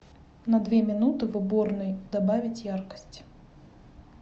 на две минуты в уборной добавить яркость